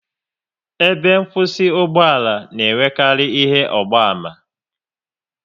Ebe nkwụsị ugboala na enwekarị ihe ọgba ama